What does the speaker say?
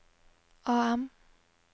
AM